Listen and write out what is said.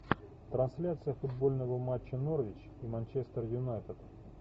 трансляция футбольного матча норвич и манчестер юнайтед